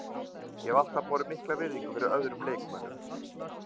Ég hef alltaf borið mikla virðingu fyrir öðrum leikmönnum.